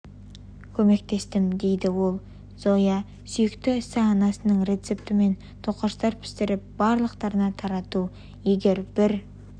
көмектестім дейді ол зоя юхновецтің сүйікті ісі анасының рецептімен тоқаштар пісіріп барлықтарына тарату егер бір